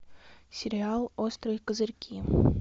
сериал острые козырьки